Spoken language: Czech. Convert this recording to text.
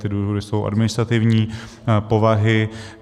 Ty důvody jsou administrativní povahy.